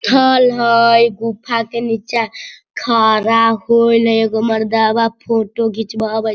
थल हय गुफा के नीचा खरा होईल है एगो मर्दवा फोटो घिचवावेत --